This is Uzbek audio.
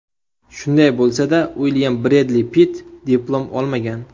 Shunday bo‘lsa-da, Uilyam Bredli Pitt diplom olmagan.